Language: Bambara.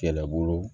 Kɛlɛbolo